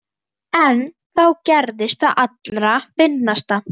En þá gerðist það allra fyndnasta.